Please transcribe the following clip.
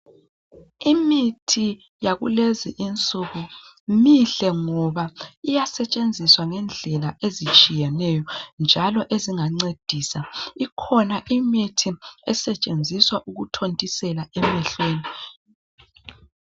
Imithi yakulezi insuku mihle ngoba iyasetshenziswa ngendlela ezitshiyeneyo njalo ezingancedisa ikhona imithi esetshenziswa ukuthintisela emehlweni